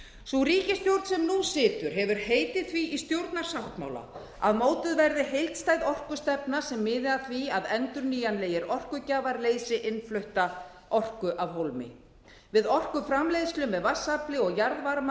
sú ríkisstjórn sem nú situr hefur heitið því í stjórnarsáttmála að mótuð verði heildstæð orkustefna sem miði að því að endurnýjanlegir orkugjafar leysi innflutta orku af hólmi við orkuframleiðslu með vatnsafli og jarðvarma